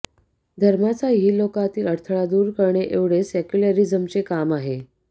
धर्माचा इहलोकातील अडथळा दूर करणे एवढेच सेक्युलॅरिझमचे काम आहे